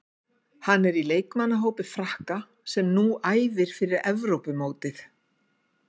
Hann er í leikmannahópi Frakka sem nú æfir fyrir Evrópumótið.